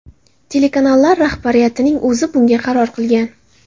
Telekanallar rahbariyatining o‘zi bunga qaror qilgan.